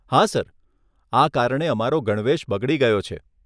હા સર, આ કારણે અમારો ગણવેશ બગડી ગયો છે.